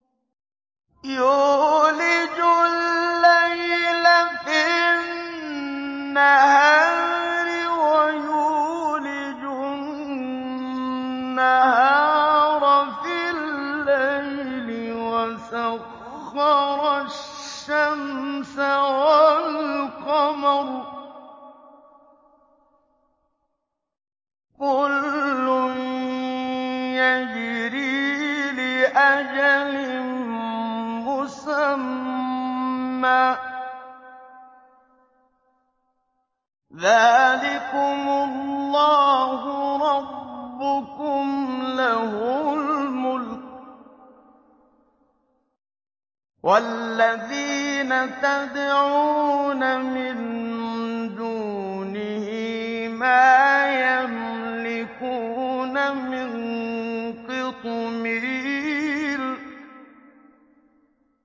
يُولِجُ اللَّيْلَ فِي النَّهَارِ وَيُولِجُ النَّهَارَ فِي اللَّيْلِ وَسَخَّرَ الشَّمْسَ وَالْقَمَرَ كُلٌّ يَجْرِي لِأَجَلٍ مُّسَمًّى ۚ ذَٰلِكُمُ اللَّهُ رَبُّكُمْ لَهُ الْمُلْكُ ۚ وَالَّذِينَ تَدْعُونَ مِن دُونِهِ مَا يَمْلِكُونَ مِن قِطْمِيرٍ